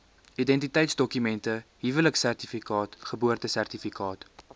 identiteitsdokument huweliksertifikaat geboortesertifikaat